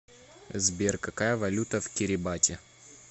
сбер какая валюта в кирибати